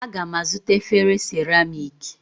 Aga m azụta efere seramiiki